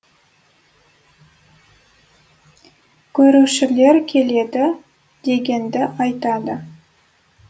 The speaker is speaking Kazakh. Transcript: көшірушілер келеді дегенді айтады